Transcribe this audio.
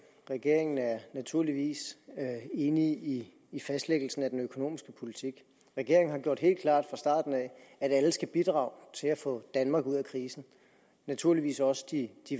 regeringen er naturligvis enig i fastlæggelsen af den økonomiske politik regeringen har gjort det helt klart fra starten at alle skal bidrage til at få danmark ud af krisen naturligvis også de